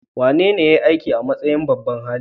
Wanene ya yi aiki a matsayin babban hali?